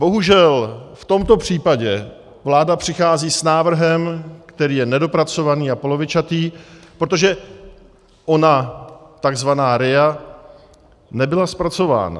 Bohužel v tomto případě vláda přichází s návrhem, který je nedopracovaný a polovičatý, protože ona tzv. RIA nebyla zpracována.